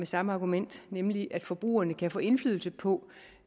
samme argument nemlig at forbrugerne kan få indflydelse på